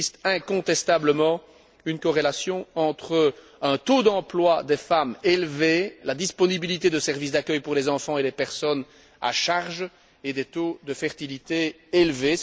Il existe incontestablement une corrélation entre un taux élevé d'emploi des femmes, la disponibilité de services d'accueil pour les enfants et les personnes à charge, et des taux de fertilité élevés.